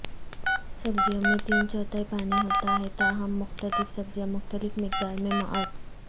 سبزیوں میں تین چوتھائی پانی ہوتا ہے تاہم مختلف سبزیاں مختلف مقدار میں معد